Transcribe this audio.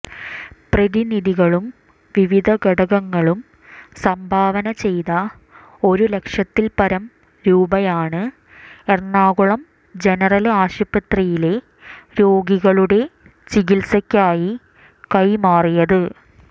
പ്രതിനിധികളും വിവിധ ഘടകങ്ങളും സംഭാവനചെയ്ത ഒരു ലക്ഷത്തില്പ്പരം രൂപയാണ് എറണാകുളം ജനറല് ആശുപത്രിയിലെ രോഗികളുടെ ചികിത്സയ്ക്കായി കൈമാറിയത്